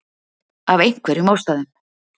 Af einhverjum ástæðum.